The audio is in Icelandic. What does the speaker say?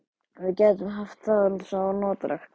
Við gætum haft það svo notalegt.